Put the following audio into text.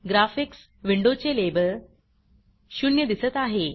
graphics विंडोचे label 0 दिसत आहे